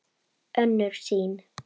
Önnur sýn